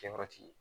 Kɛyɔrɔ ti yen